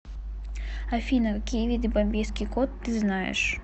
афина какие виды бомбейский кот ты знаешь